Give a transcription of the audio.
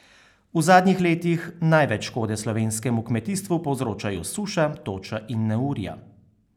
V zadnjih letih največ škode slovenskemu kmetijstvu povzročajo suša, toča in neurja.